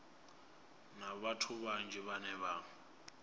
na vhathu vhanzhi vhane vha